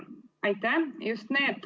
Aitäh!